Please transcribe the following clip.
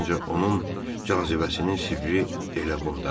Məncə onun cazibəsinin sirri elə bundadır.